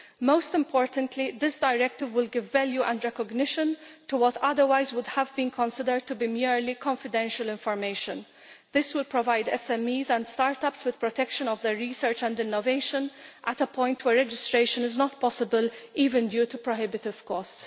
Most importantly, this directive will give value and recognition to what otherwise would have been considered to be merely confidential information'. This will provide SMEs and start ups with protection of their research and innovation at a point where registration is not possible, even due to prohibitive costs.